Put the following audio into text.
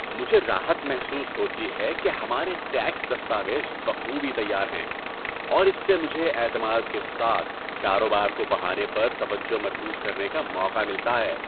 مجھے راحت محسوس ہوتی ہے کہ ہمارے ٹیکس دستاویز بخوبی تیار ہیں، اور اس سے مجھے اعتماد کے ساتھ کاروبار کو بڑھانے پر توجہ مرکوز کرنے کا موقع ملتا ہے۔